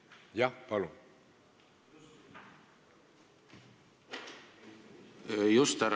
Jah, palun!